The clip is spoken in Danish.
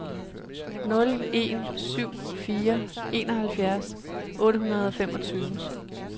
nul en syv fire enoghalvfjerds otte hundrede og femogtyve